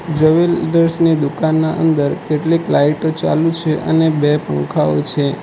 Jewellers ની દુકાનના અંદર કેટલીક લાઈટ ઑ ચાલુ છે અને બે પંખાઓ છે.